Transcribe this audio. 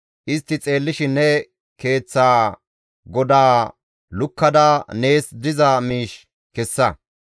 Istti xeellishin ne keeththa godaa lukkada nees diza miish kessa.